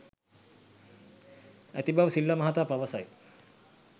ඇති බව සිල්වා මහතා පවසයි.